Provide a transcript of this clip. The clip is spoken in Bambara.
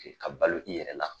Ka balo i yɛrɛ la